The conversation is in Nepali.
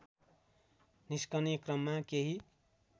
निस्कने क्रममा केही